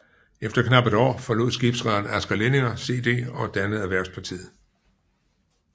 Efter knap et år forlod skibsrederen Asger Lindinger CD og dannede Erhvervspartiet